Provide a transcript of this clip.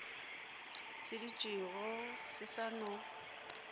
se dutšego se sa no